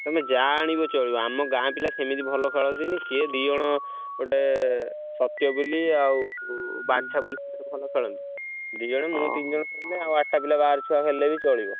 ତମେ ଯାହା ଆଣିବ ଚଳିବ ଆମ ଗାଁ ପିଲା ସେମତି ଭଲ ଖେଳି ଆସେନି ସିଏ ଦି ଜଣ ଗୋଟେ ସ ତ୍ୟ ବୋଲି ଆଉ ବାଞ୍ଛା ବୋଲି ଭଲ ଖେଳନ୍ତି ଦି ଜଣ ମୁଁ ତିନ ଜଣ ଖେଳିଲେ ଆଉ ଆଠ ଟା ଛୁଆ ବାହାରପିଲା ଖେଳିଲେ ବି ଚଳିବ।